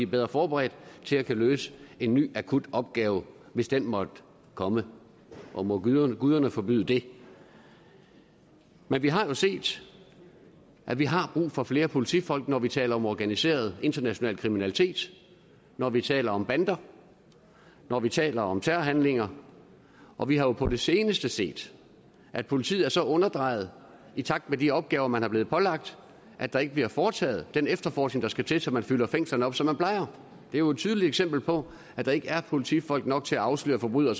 bedre forberedt til at kunne løse en ny akut opgave hvis den måtte komme og må guderne forbyde det men vi har jo set at vi har brug for flere politifolk når vi taler om organiseret international kriminalitet når vi taler om bander når vi taler om terrorhandlinger og vi har jo på det seneste set at politiet er så underdrejet i takt med de opgaver man er blevet pålagt at der ikke bliver foretaget den efterforskning der skal til så man fylder fængslerne op som man plejer det er jo et tydeligt eksempel på at der ikke er politifolk nok til at afsløre forbrydere